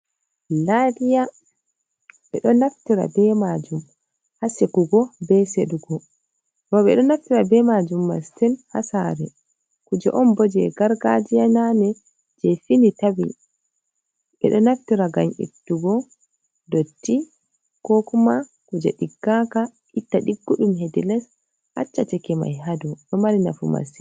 Lariya, bedo naftira be majum ha sekugo. Be sedugo. Bo be ɗo naftira be majum mastin ha sare. Kuje on boje gargajiya nane, je fini tawi. Bedo naftira gam ittugo dotti ko kuma kuje diggaka itta diggudum hedi les, acca cake mai hadau. Ɗo mari nafu mastin.